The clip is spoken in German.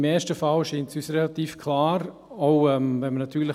Im ersten Fall scheint es uns relativ klar zu sein: